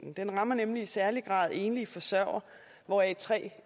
den rammer nemlig i særlig grad enlige forsørgere hvoraf tre